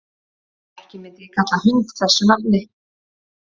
Ekki myndi ég kalla hund þessu nafni.